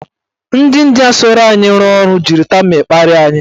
Ndị India so anyị rụọ ọrụ jiri tamịl kparia anyị.